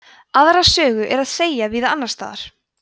aðra sögu er að segja víða annars staðar